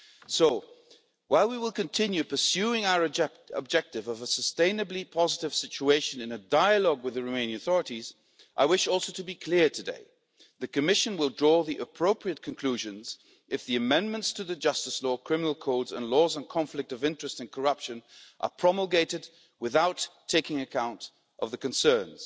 So, while we will continue pursuing our objective of a sustainably positive situation in a dialogue with the Romanian authorities, I wish also to be clear today that the Commission will draw the appropriate conclusions if the amendments to the justice law, criminal codes and laws on conflict of interest and corruption are promulgated without taking account of the concerns.